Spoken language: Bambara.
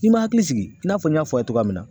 N'i ma hakili sigi i n'a fɔ n y'a fɔ a ye cogoya min na